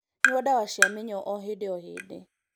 Nyua ndawa cia mĩnyoo o hĩndĩ o hĩndĩ